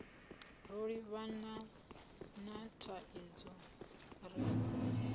ro livhana na thaidzo ri